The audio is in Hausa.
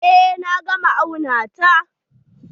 Eh na gama auna ta.